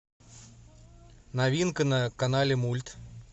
новинка на канале мульт